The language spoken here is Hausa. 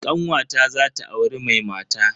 Kanwata zata auri mai mata.